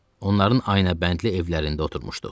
Onların ayına bəndli evlərində oturmuşduq.